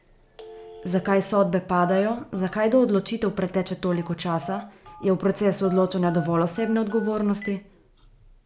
Zakaj sodbe padajo, zakaj do odločitev preteče toliko časa, je v procesu odločanja dovolj osebne odgovornosti?